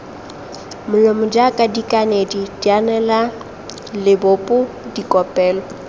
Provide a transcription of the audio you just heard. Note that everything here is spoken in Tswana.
molomo jaaka dikanedi dianelalebopo dikopelo